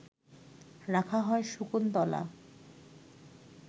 রাখা হয় শকুন্তলা